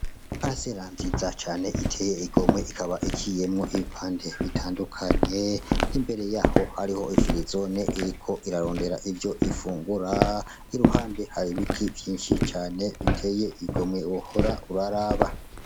Parisera nziza cane iteye igomwe ikaba iciyemwo ibipande bitandukanye imbere yaho hariho ifirizone iriko irarondera ivyo ifungura iruhande hari ibiti vyinshi cane biteye igomwe wohora uraraba